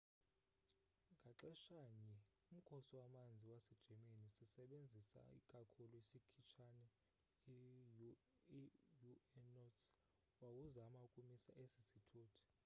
ngaxeshanye umkhosi wamanzi wase german, sisebenzisa ikakhulu isikhitshane i u-noats wawuzama ukumisa esi sithuthi